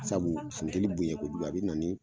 Sabu funteni bonya ko jugu a be na ni